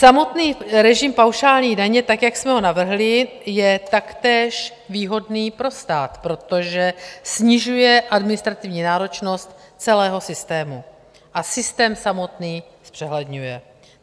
Samotný režim paušální daně tak, jak jsme ho navrhli, je taktéž výhodný pro stát, protože snižuje administrativní náročnost celého systému a systém samotný zpřehledňuje.